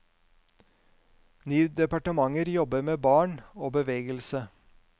Ni departementer jobber med barn og bevegelse.